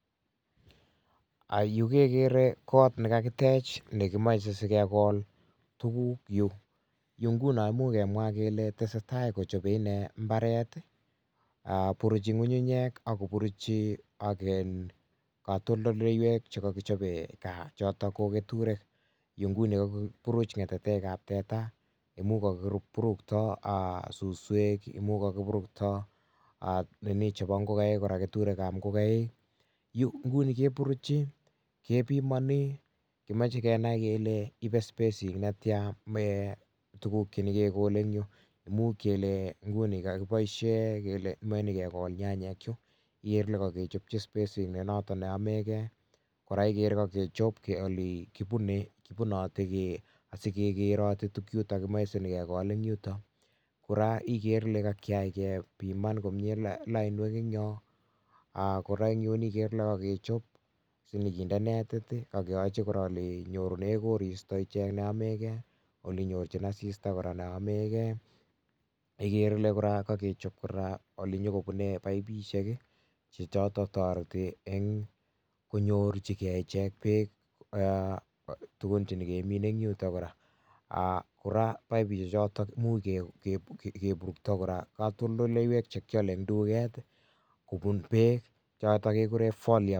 [um]Yu kekere kot ne kakitech ne kimache sikegol tuguk yu. Yu nguno imuch kemwa kele tesetai kochope ine mbaret, um buruchi ng'unyunyek, ako buruchi ak um katoldoleiwek che kakichope gaa, chotok ko keturek. Yu nguni, kakipuruch ngetetekab teta, imuch kakipurukto um suswek. Imuch kakipurukto um nini chebo ngogaik kora keturekab ngogaik. Yu nguni keburuchi, kepimani, kimache kenai kele ibe spesik netia um tuguk che nyikegole eng' yuu. Imuch kele nguni kakiboisie, kele meche nyikegol nyanyek yu, igere kele kakichopchi spesit ne notok ne yamegei, kora ikere kakechop ole kibune, kibunoti um asikekeroti tugchutok kimeche sinyikekol eng' yutok. Kora ikere kele kakiyai kepiman komyee lainwek eng' yoo. um Kora eng' yu, ikere kele kakechop, sinyikinde netit akeyochi kora ole nyorune koristo ichek neyamegei, ole nyorchin asista kora neyamagei, ikere ile kora kakechop kora ole nyikobune paipishek, chechotok toreti eng' konyorchikei ichek beek um tugun che nyikemine eng' yutok kora. um Kora paipishek chotok, imuch kebukto kora katoldoleiwek che kiale eng' duket, kobun beek, chotok kekure folier.